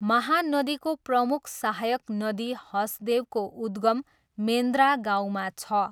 महानदीको प्रमुख सहायक नदी हसदेवको उद्गम मेन्द्रा गाउँमा छ।